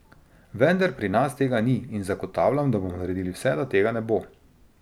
Vendar pri nas tega ni in zagotavljam, da bomo naredili vse, da tega ne bo.